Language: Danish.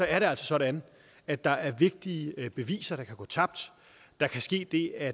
er det altså sådan at der er vigtige beviser der kan gå tabt der kan ske det at